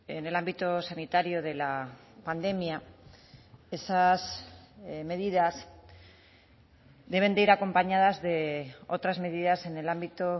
en el ámbito sanitario de la pandemia esas medidas deben de ir acompañadas de otras medidas en el ámbito